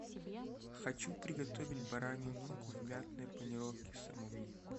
хочу приготовить баранью ногу в мятной панировке самому